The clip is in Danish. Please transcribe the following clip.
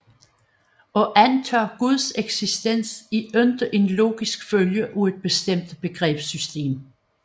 At antage Guds eksistens er ikke en logisk følge af et bestemt begrebssystem